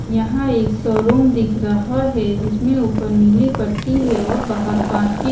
यहां एक शोरूम दिख रहा है जिसमें ऊपर नीली पट्टी है और बाहर कांच की।